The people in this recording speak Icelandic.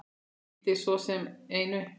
Gildir svo sem einu.